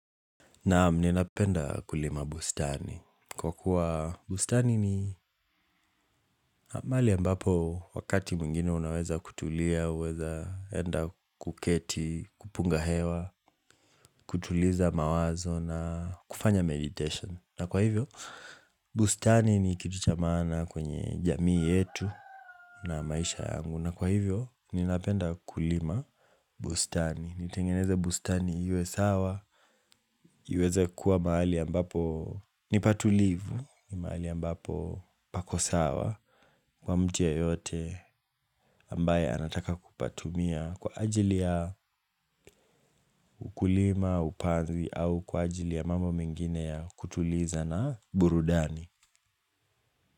Naam ninapenda kulima bustani. Kwa kuwa bustani ni mahali ambapo wakati mwingine unaweza kutulia, uweza enda kuketi, kupunga hewa, kutuliza mawazo na kufanya meditation. Na kwa hivyo, bustani ni kitu cha maana kwenye jamii yetu na maisha yangu. Na kwa hivyo, ninapenda kulima bustani. Nitengeneze bustani iwe sawa, iweze kuwa mahali ambapo ni patulivu, ni mahali ambapo pako sawa, kwa mtu yeyote ambaye anataka ku patumia kwa ajili ya ukulima, upanzi, au kwa ajili ya mambo mengine ya kutuliza na burudani.